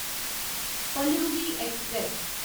Palaruvi express